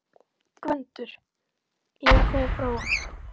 GVENDUR: Ég er að koma frá honum.